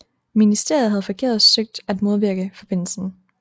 Ministeriet havde forgæves søgt at modvirke forbindelsen